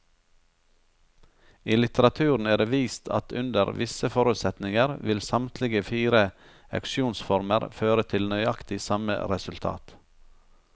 I litteraturen er det vist at under visse forutsetninger vil samtlige fire auksjonsformer føre til nøyaktig samme resultat.